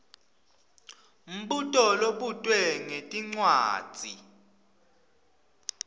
mbuto lobutwe ngetincwadzi